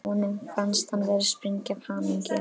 Honum fannst hann vera að springa af hamingju.